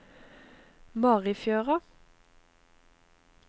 Marifjøra